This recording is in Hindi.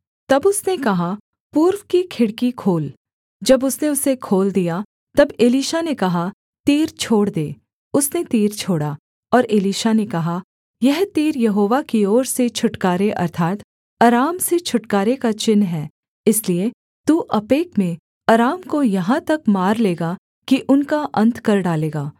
तब उसने कहा पूर्व की खिड़की खोल जब उसने उसे खोल दिया तब एलीशा ने कहा तीर छोड़ दे उसने तीर छोड़ा और एलीशा ने कहा यह तीर यहोवा की ओर से छुटकारे अर्थात् अराम से छुटकारे का चिन्ह है इसलिए तू अपेक में अराम को यहाँ तक मार लेगा कि उनका अन्त कर डालेगा